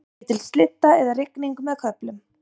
Dálítil slydda eða rigning með köflum